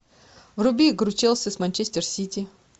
вруби игру челси с манчестер сити